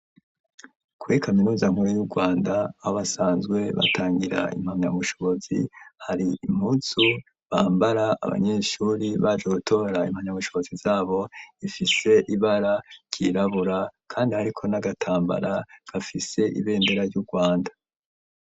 Kuri kaminuza nkuru y'urwanda aho basanzwe batangira impamyabushobozi hari impuzu bambara abanyeshuri baje gutora impamyabushobozi zabo ifise ibara ryirabura kandi hariko n'agatambara gafise ibendera ry'u rwanda.